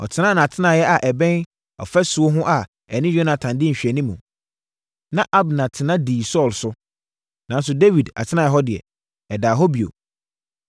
Ɔtenaa nʼatenaeɛ a ɛbɛn ɔfasuo ho a ɛne Yonatan di nhwɛanim, na Abner tena dii Saulo so, nanso Dawid atenaeɛ hɔ deɛ, ɛdaa hɔ bio.